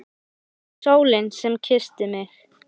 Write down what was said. Hún var sólin sem kyssti mig.